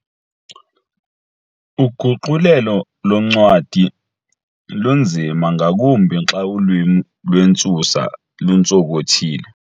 Uguqulelo loncwadi lunzima ngakumbi xa ulwimi lwentsusa luntsonkothile.